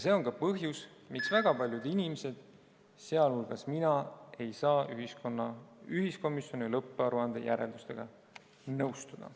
See on ka põhjus, miks väga paljud inimesed, sh mina, ei saa ühiskomisjoni lõpparuande järeldustega nõustuda.